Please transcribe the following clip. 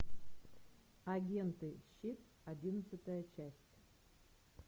агенты щит одиннадцатая часть